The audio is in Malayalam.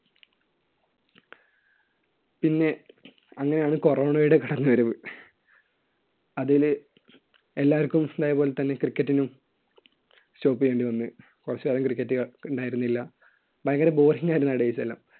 പിന്നെ അന്നേരമാണ് corona യുടെ കടന്നുവരവ്. അതിൽ എല്ലാവർക്കും തായപോലെതന്നെ cricket നും stop ചെയ്യേണ്ടിവന്നു. കുറച്ചുകാലം cricket ഉണ്ടായിരുന്നില്ല. ഭയങ്കര boring ആയിരുന്നു ആ date എല്ലാം.